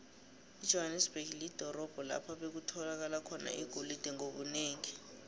ijohanesberg lidorobho lapho bekutholakala khona igolide ngobunengi